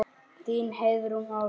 Þín, Heiðrún Ósk.